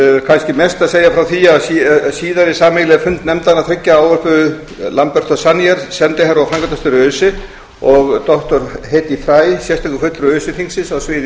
kannski mest að segja frá því að síðari sameiginlegan fund nefndanna ávörpuðu lamberto zannier sendiherra og framkvæmdastjóri öse og á hedy fry sérstakur fulltrúi öse þingsins á sviði